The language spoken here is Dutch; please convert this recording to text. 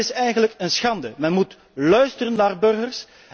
Dat is eigenlijk een schande. Men moet luisteren naar de burgers.